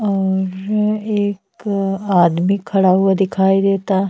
और एक आदमी खड़ा हुआ दिखाई देता।